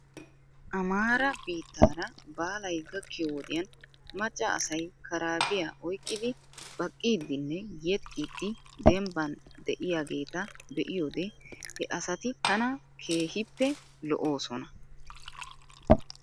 Amaara biittaara baalay gakkiyoo wodiyan macca asay karaabiyaa oyqqidi baqiiddinne yexxiiddi dembban de'iyaageeta be'iyoode he asati tana keehippe lo'oosona .